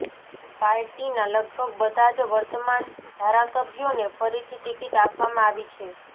પાર્ટીના લગભગ બધા જ વર્તમાન ધારાસભ્યોને ફરીથી ટિકીટ આપવામાં આવી છે